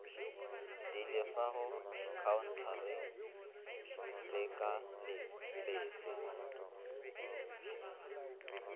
di lefago khaontareng lekaleng lefe